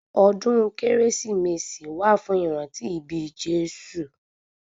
Ọdún kérésìmesì wà fún ìrántí ibí Jésù